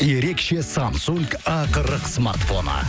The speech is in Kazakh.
ерекше самсунг а қырық смартфоны